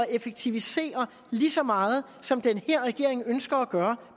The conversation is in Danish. effektivisere lige så meget som den her regering ønsker at gøre